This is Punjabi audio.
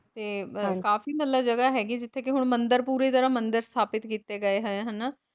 ਤੇ ਕਾਫੀ ਮਤਲਬ ਜਗ੍ਹਾ ਹੈਗੀ ਜਿੱਥੇ ਕੇ ਹੁਣ ਮੰਦਿਰ ਪੂਰੀ ਤਰਾਂ ਮੰਦਿਰ ਸਥਾਪਿਤ ਕੀਤੇ ਗਏ ਹੋਏ ਹਨਾਂ